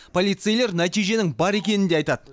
полицейлер нәтиженің бар екенін де айтады